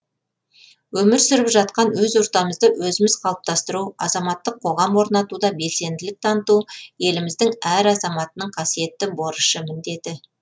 өмір сүріп жатқан өз ортамызды өзіміз қалыптастыру азаматтық қоғам орнатуда белсенділік таныту еліміздің әр азаматтының қасиеттті борышы міндеті